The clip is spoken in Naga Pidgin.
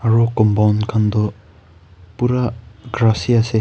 aro compound khan toh pura grass hi ase.